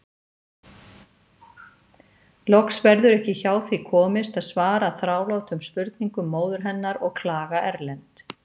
Loks verður ekki hjá því komist að svara þrálátum spurningum móður hennar og klaga Erlend.